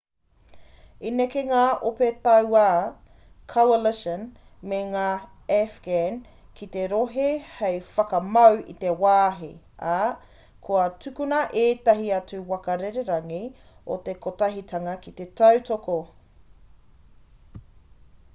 i neke ngā ope tauā coalition me ngā afghan ki te rohe hei whakamau i te wāhi ā kua tukuna ētahi atu waka rererangi o te kotahitanga ki te tautoko